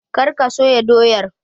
Kar ka soya doyar!